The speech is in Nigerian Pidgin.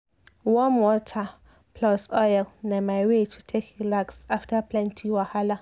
warm water plus oil na my way to take relax after plenty wahala.